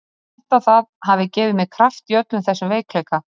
Ég held að það hafi gefið mér kraft í öllum þessum veikleika.